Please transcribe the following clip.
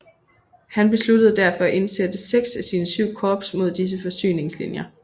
Han besluttede derfor at indsætte seks af sine syv korps mod disse forsyningslinjer